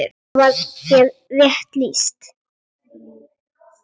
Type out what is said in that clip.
Þar var þér rétt lýst!